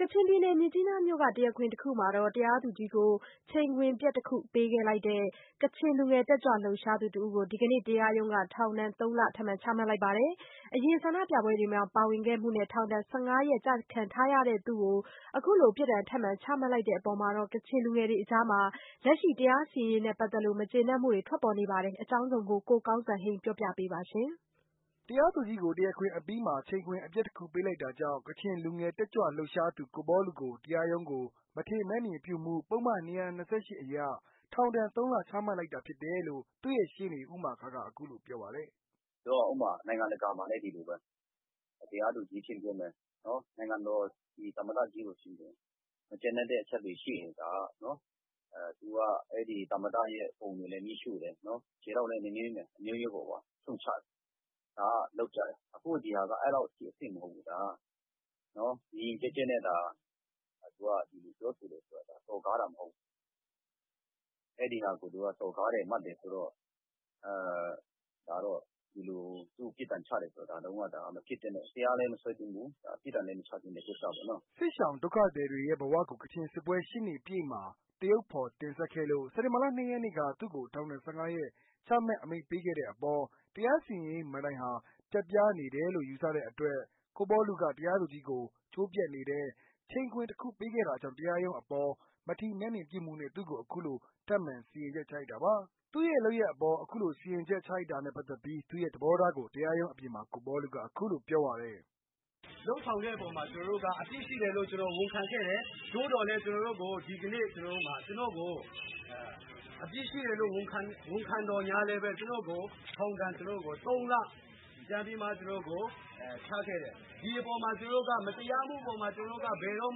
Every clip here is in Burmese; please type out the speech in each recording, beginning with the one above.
ကချင်ပြည်နယ် မြစ်ကြီးနားမြို့ တရားခွင်တစ်ခုမှာ တရားသူကြီးကို ချိန်ခွင်ပျက်တစ်ခု ပေးလိုက်တဲ့ ကချင်လူငယ် တက်ကြွလှုပ်ရှားသူ တစ်ဦးကို ဒီကနေ့ တရားရုံးက ထောင်ဒဏ် ၃လချမှတ်လိုက်ပါတယ်။ အရင် ဆန္ဒပြပွဲတွေမှာ ပါဝင်ခဲ့မှုနဲ့ ထောင်ဒဏ် ၁၅ ရက်ကျခံထားရပြီးဖြစ်တဲ့ သူတဦးကို အခုလို ပြစ်ဒဏ် ထပ်မံ ချမှတ်လိုက်တဲ့ အပေါ်ကချင်လူငယ်တွေအကြား လက်ရှိ တရားစီရင်ရေးနဲ့ပတ်သက်လို့ မကျေနပ်မှုတွေ ထွက်ပေါ်နေပါတယ်။ အပြည့်အစုံကိုတော့ ကိုကောင်းစံဟိန်းက ပြောပြပေးမှာပါ။ တရားသူကြီးကို တရားခွင်အပီးမှာ ချိန်ခွင်အပျက်တစ်ခု ပေးလိုက်တာကြောင့် ကချင်လူငယ် တက်ကြွလှုပ်ရှားသူ ကိုပေါလုကို တရားရုံးကို မထီမဲ့မြင်ပြုမှု ပုဒ်မ ၂၂၈ အရ ထောင်ဒဏ် ၃လ ချမှတ်လိုက်တာဖြစ်တယ်လို့သူ့ရဲ့ရှေ့နေ ဦးမာခါးက အခုလိုပြောပါတယ်။ "ဆိုတော့ ဥပမာ နိုင်ငံတကာ မှာဆိုလည်း ဒီလိုပဲ တရားသူကြီးအချင်းချင်းပဲ ဒီ နိုင်ငံတော် သမ္မတကြီးကို မကျေနပ်တဲ့အချက်တွေ ရှိရင် ဒါက သူက အဲ့ဒီ သမ္မတရဲ့ ပုံတွေကို မီးရှို့တယ်၊ ခြေထောက်နဲ့ နင်းတယ်၊ အမျိုးမျိုးပေါ့ ရှုတ်ချတယ်။ ဒါက လုပ်ကျတယ်။ အခု ဒါက အဲ့လောက်အထိ အဆင့်မဟုတ်ဘူး။ ဒါက ယဉ်ယဉ်ကျေးကျေးနဲ့ ပြောဆိုတာက စော်ကားတာ မဟုတ်ဘူး။ အဲ့ဒီဟာကို သူက စော်ကားတယ် မှတ်တယ်ဆိုတော့ ဒါတော့ ဒီလိုမျိုး ပြစ်ဒဏ်ချတယ်ဆိုတော့ မဖြစ်သင့်တဲ့ တရားလည်း မစွဲသင့်ဘူး။ ပြစ်ဒဏ်လည်း မချသင့်တဲ့ ကိစ္စပေါ့နော်။" စစ်ရှောင်ဒုက္ခသည်တွေရဲ့ဘဝကို ကချင်စစ်ပွဲ ၈နှစ်ပြည့်မှာ သရုပ်ဖော်တင်ဆက်ခဲ့လို့ စက်တင်ဘာ ၂ရက်နေ့က သူ့ကို ထောင်ဒဏ် ၁၅ရက် ချမှတ်အမိန့်ပေးခဲ့တဲ့အပေါ် တရားစီရင်ရေးမဏ္ဍိုင်ဟာ ပျက်ပြားနေတယ်လို့ ယူဆတဲ့အတွက် ကိုပေါလုက တရားသူကြီးကို ကြိုးပြတ်နေတဲ့ ချိန်ခွင်တခုပေးခဲ့တာကြောင့် တရားရုံးအပေါ် မထီမဲ့မြင်ပြုမှုနဲ့ သူ့ကို အခုလို ထပ်မံ စီရင်ချက်ချလိုက်တာပါ။ သူ့ရဲ့လုပ်ရပ်အပေါ် အခုလို စီရင်ချက်ချလိုက်တာနဲ့ပတ်သက်လို့ သူ့ရဲ့ သဘောထားကို တရားရုံးအပြင်မှာ ကိုပေါလုက အခုလို ပြောပါတယ်။ "လုပ်ဆောင်တဲ့အပေါ်မှာ ကျနော်တို့က အပြစ်ရှိတယ်လို့ ကျနော် ဝန်ခံခဲ့တယ်။ သို့သော်လည်း ကျနော်တို့ကို ဒီကနေ့ ဒါကျနော့်ကို အပြစ်ရှိတယ်လို့ ဝန်ခံသော်လည်းပဲ ကျနော်ကို ထောင်ဒဏ် သုံးလ ပြန်ပြီးတော့မှ ကျနော့်ကို ချခဲ့တယ်။ ဒီအပေါ်မှာ ကျနော်တို့က မတရားမှုအပေါ်မှာ ကျနော်တို့က ဘယ်တော့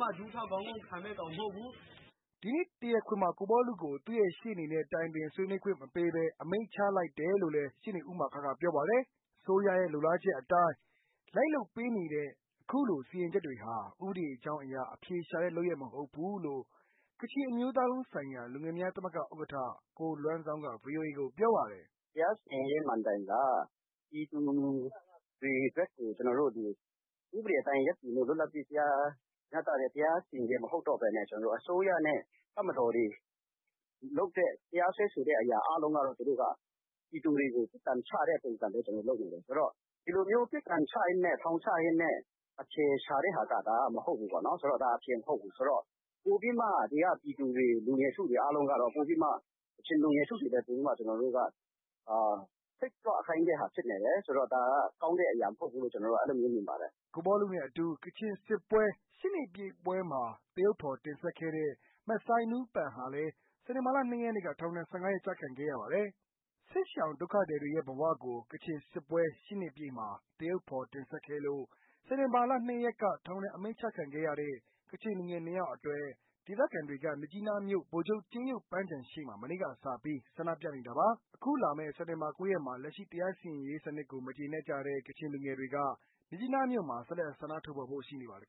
မှ ဒူးထောက် ခေါင်းငုံ့ခံမယ့်ကောင် မဟုတ်ဘူး။" ဒီကနေ့ တရားခွင်မှာ ကိုပေါလုကို သူ့ရဲ့ရှေ့နေနဲ့ ဆွေးနွေးတိုင်ပင်ခွင့် တွေ့ဆုံခွင့် မပေးဘဲ အမိန့်ချလိုက်တယ်လို့လည်း ရှေ့နေဦးမာခါးက ပြောပါတယ်။ အစိုးရရဲ့ လိုလားချက်အတိုင်း လိုက်လုပ်ပေးနေတဲ့ အခုလို စီရင်ချက်တွေဟာ ဥပဒေကြောင်းအရ အဖြေရှာတဲ့ လုပ်ရပ်မဟုတ်ဘူးလို့ ကချင်အမျိုးသားလုံးဆိုင်ရာလူငယ်များသမဂ္ဂ ဥက္ကဋ္ဌ ကိုလွမ်ဇောင်းက ဗွီအိုအေကို ပြောပါတယ်။ "တရားစီရင်ရေး မဏ္ဍိုင်က ပြည်သူတွေဘက်ကို ကျနော်တို့ ဒီဥပဒေအတိုင်းရပ်တည်တဲ့ လွတ်လပ်တဲ့ တရားမျှတတဲ့ တရားစီရင်ချက် မဟုတ်တော့ဘဲနဲ့ ကျနော်တို့ အစိုးရနဲ့ တပ်မတော်တွေလုပ်တဲ့ တရားစွဲဆိုတဲ့ အရာအားလုံးက သူတို့က ပြည်သူတွေကို ကန်ချတဲ့ပုံစံပဲ သူတို့လုပ်နေတယ်။ ဆိုတော့ ဒီလိုမျိုး ပြစ်ဒဏ်ချရင်းနဲ့ ထောင်ချရင်းနဲ့ အဖြေရှာတဲ့ဟာက မဟုတ်ဘူးပေါ့နော်။ ဆိုတော့ ဒါအဖြေမဟုတ်ဘူး။ ဆိုတော့ ပိုပြီးမှ ဒီက ပြည်သူတွေ လူငယ်စုတွေ အားလုံးကတော့ ကချင်လူငယ်စုတွေလည်းပိုပြီးတော့မှ စိတ်ကြွခိုင်းတဲ့အရာ ဖြစ်နေတယ်။ ကောင်းတဲ့ အရာမဟုတ်ဘူးလို့ ကျနော်တော့ အဲ့လိုပဲ မြင်ပါတယ်။" ကိုပေါလုနဲ့အတူ ကချင်စစ်ပွဲ ၈ နှစ်ပြည့်ပွဲမှာ သရုပ်ဖော်တင်ဆက်ခဲ့တဲ့ မဆိုင်းနူးပန်ဟာလည်း စက်တင်ဘာလ ၂ ရက်နေ့က ထောင် ၁၅ ရက် ကျခံခဲ့ရပါတယ်။ စစ်ရှောင်ဒုက္ခသည်တွေရဲ့ဘဝကို ကချင်စစ်ပွဲ၈နှစ်ပြည့်မှာ သရုပ်ဖော်တင်ဆက်ခဲ့လို့ စက်တင်ဘာ ၂ရက်က ထောင်ဒဏ်အမိန့်ချခံရတဲ့ ကချင်လူငယ်၂ယောက်အတွက် ဒေသခံတွေက မြစ်ကြီးနားမြို့ ဗိုလ်ချုပ်ကြေးရုပ်ပန်းခြံရှေ့မှာ မနေ့ကစပြီး ဆန္ဒပြနေကြတာပါ။ ခုလာမယ့် စက်တင်ဘာ၉ ရက်မှာ လက်ရှိ တရားစီရင်ရေးစနစ်ကို မကျေနပ်ကြတဲ့ ကချင်လူငယ်တွေက မြစ်ကြီးနားမြို့မှာ ဆက်လက် ဆန္ဒထုတ်ဖော်ဖို့ ရှိနေပါတယ်